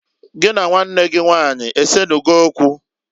Gị na nwanne gị nwanyị esenugo okwu?